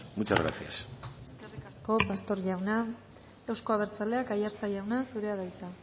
muchas gracias eskerrik asko pastor jauna euzko abertzaleak aiartza jauna zurea da hitza